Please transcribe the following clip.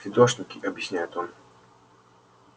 фидошники объясняет он